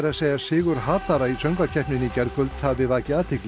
segja að sigur hatara í söngvakeppninni í gærkvöld hafi vakið athygli